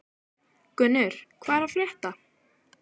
Gunnur, hvað er að frétta?